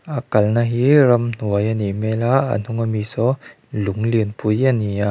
a kalna hi ramhnuai a nih hmel a a hnung a mi saw lung lianpui a ni a.